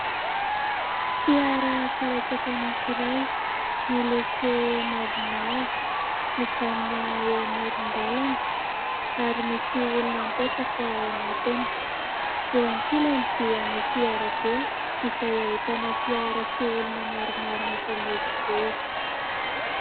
Fiara karetsaka anankiray, miloko mavomavo, mijanona eo amoron-dalana ary misy olona mipetraka ao anatiny. Eo an-kilany dia misy arabe izay ahitana fiara sy olona maromaro mifamezivezy.